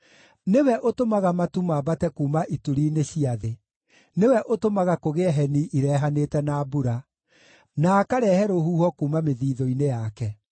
Nĩwe ũtũmaga matu mambate kuuma ituri-inĩ cia thĩ; nĩwe ũtũmaga kũgĩe heni irehanĩte na mbura, na akarehe rũhuho kuuma mĩthithũ-inĩ yake.